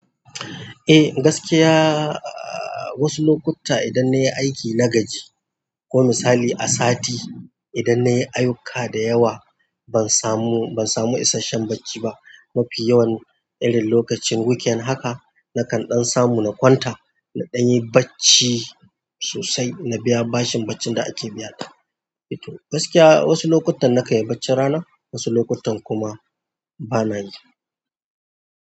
Eh gaskiya wasu lokuta idan na yi aiki na gaji, ko misali a sati idan na yi ayuka da yawa ban samu, ban samu isashen bacci ba. Mafi yawan irin lokacin weekend haka nakan ɗan samu kwanta na nayi bacci sossai na biya bashin bacci da ake bina. Gaskiya wasu lokutan na kayi bacci rana, wasu lokutan kuma bana yi.